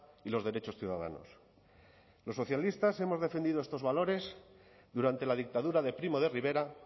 y los derechos ciudadanos los socialistas hemos defendido estos valores durante la dictadura de primo de rivera